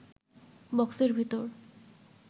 বক্সের ভেতর